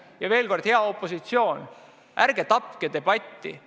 Ja veel kord: hea opositsioon, ärge tapke debatti!